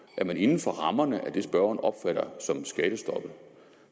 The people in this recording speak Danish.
at man inden for rammerne af det spørgeren opfatter som skattestoppet